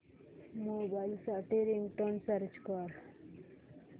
mobile साठी ringtone search कर